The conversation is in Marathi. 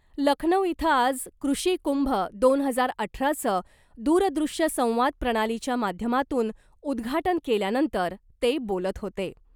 लखनऊ इथं आज कृषी कुंभ दोन हजार अठराचं दूरदृश्य संवाद प्रणालीच्या माध्यमातून उद्घाटन केल्यानंतर ते बोलत होते .